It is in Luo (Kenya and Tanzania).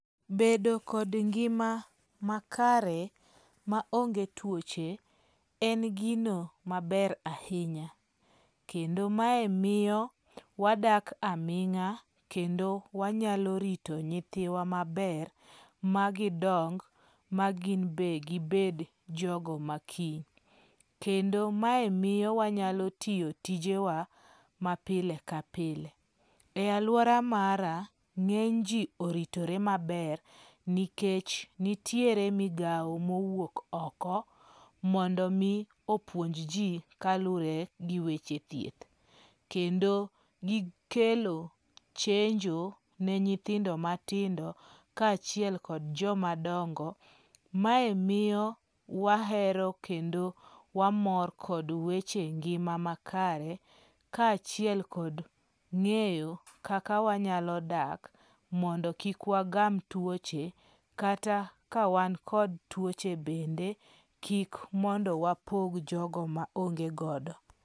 Bedo kod ngima makare maonge tuoche en gino maber ahinya. Kendo mae miyo wadak aming'a kendo wanyalo rito nyithiwa maber, magidong, ma gin bende gibed jogo makiny. Kendo mae miyo wanyalo tiyo tijewa mapile kapile. E aluora mara ng'enyji oritore maber nikech nitiere mogawo mowuok oko mondo mi opuonj ji kaluwore gi weche thieth. Kendo gikelo chenjo ne nyithindo matindo, kaachiel kod joma dongo. Mae miyo wahero kendo wamor kod weche ngima makare kaachiel kod ng'eyo kaka wanyalo dak mondo kik wagam tuoche kata kawan kod tuoche bende kik mondo wapog jogo maonge godo.